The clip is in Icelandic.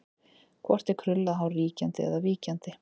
Hvort er krullað hár ríkjandi eða víkjandi?